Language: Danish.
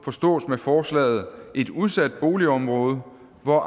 forstås med forslaget et udsat boligområde hvor